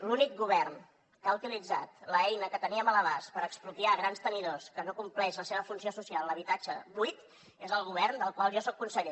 l’únic govern que ha utilitzat l’eina que teníem a l’abast per expropiar grans tenidors que no compleixen la seva funció social d’habitatge buit és el govern del qual jo soc conseller